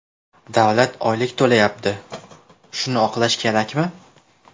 Davlat oylik to‘layapti, shuni oqlash kerakmi?